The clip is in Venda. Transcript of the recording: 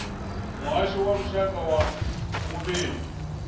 muhasho wa lushaka wa vhulimi